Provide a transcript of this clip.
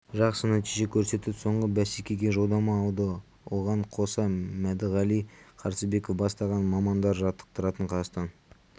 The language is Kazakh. жақсы нәтиже көрсетіп соңғы бәсекеге жолдама алды оған қоса мәдіғали қарсыбеков бастаған мамандар жаттықтыратын қазақстан